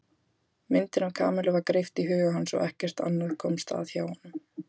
Myndin af Kamillu var greipt í huga hans og ekkert annað komst að hjá honum.